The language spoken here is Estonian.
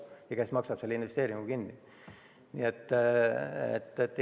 Ja kes selle investeeringu kinni maksab?